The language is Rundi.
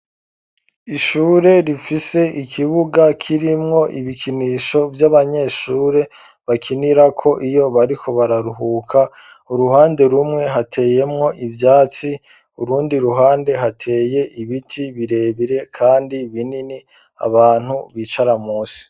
Ishure rifise ikibuga kirimwo ibikinisho vy'abanyeshure ,bakinirako iyo bariko bararuhuka, uruhande rumwe hateyemwo ivyatsi ,urundi ruhande hateye ibiti birebire ,kandi binini abantu bicara musi.